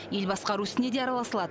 ел басқару ісіне де араласа алады